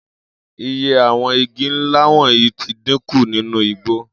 Iye àwo̩n igi ńlá wò̩nyìí ti dínkù nínú igbó